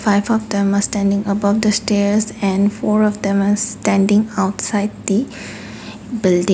half of them are standing above the stairs and four of them are standing outside the building.